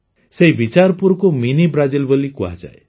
ସେହି ବିଚାରପୁରକୁ mini Brazil ବୋଲି କୁହାଯାଏ